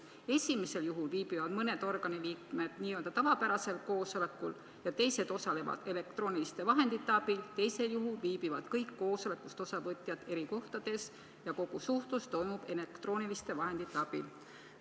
Esimesel juhul viibivad mõned organi liikmed n-ö tavapärasel koosolekul ja teised osalevad elektrooniliste vahendite abil, teisel juhul viibivad kõik koosolekust osavõtjad eri kohtades ja kogu suhtlus toimub elektrooniliste vahendite abil.